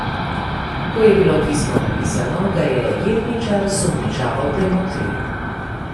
Ko je bilo pismo napisano, ga je jetničar sumničavo premotril.